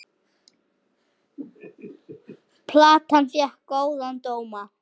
Platan fékk góða dóma.